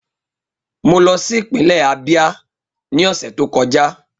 Mo lọ si ipinlẹ Abia ni ọsẹ to kọja.